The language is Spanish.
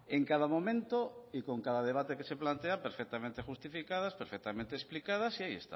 en cada momento y con cada debate que se plantea perfectamente justificadas perfectamente explicadas y ahí